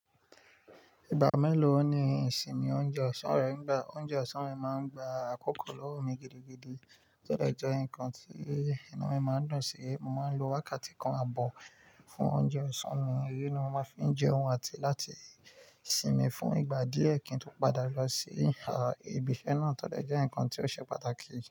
Ìgbà mélòó ni ìsinmi oúnjẹ ọ̀sán rẹ ń gba? Oúnjẹ ọ̀sán mi máa ń gba àkókò lọ́wọ́ mi gidigidi, tọ́ dọ̀ jẹ́ nǹkan tí inu mi máa ń dún sí. Mo máa ń lo wákàtí kan ààbọ̀ fún oúnjẹ ọ̀sán mi, èyí ni mo máa fi ń jẹun àti láti sinmi fún ìgbà díẹ̀ kín tó padà lọ sí ibi iṣẹ́ náà. Tọ́ de jẹ́ nǹkan tí ó ṣe pàtàkì.